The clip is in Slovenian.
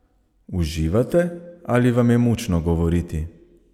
Uživate ali vam je mučno govoriti?